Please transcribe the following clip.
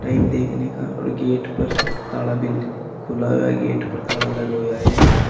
इन देखने का और गेट पर ताड़ा भी खुला हुआ गेट पर ताड़ा लगा हुआ है एक--